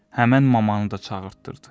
Həmən mamanı da çağırtdırdı.